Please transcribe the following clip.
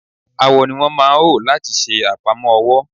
Awọ ni wọ́n lmáa ò láti ṣe àpamọ́ ọwọ́.